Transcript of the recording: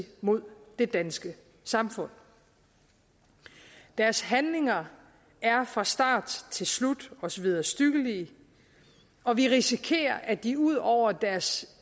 mod det danske samfund deres handlinger er fra start til slut os vederstyggelige og vi risikerer at de ud over deres